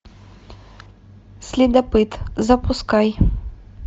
следопыт запускай